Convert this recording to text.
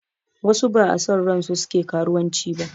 Wasu ba a son ransu suke karuwanci ba